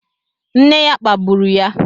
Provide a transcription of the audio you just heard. Nna ya kpagburu ya